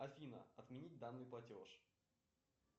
афина отменить данный платеж